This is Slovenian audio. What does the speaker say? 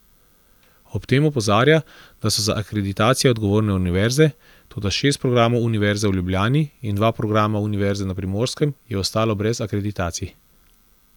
Ob tem opozarja, da so za akreditacije odgovorne univerze, toda šest programov Univerze v Ljubljani in dva programa Univerze na Primorskem je ostalo brez akreditacij.